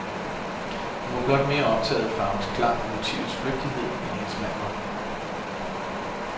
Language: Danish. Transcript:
Hun var blot mere optaget af farvens klang og motivets flygtighed, end hendes mand var.